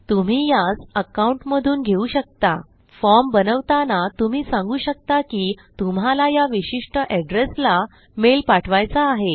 तुम्ही यास अकाउंट मधून घेऊ शकता फॉर्म बनवताना तुम्ही सांगू शकता की तुम्हाला या विशिष्ट addressला मेल पाठवायचा आहे